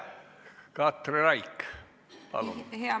Katri Raik, palun!